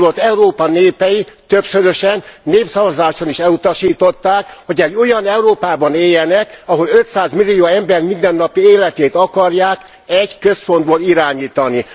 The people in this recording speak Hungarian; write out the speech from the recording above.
Holott Európa népei többszörösen, népszavazáson is elutasították, hogy egy olyan Európában éljenek, ahol 500 millió ember mindennapi életét akarják egy központból irányítani.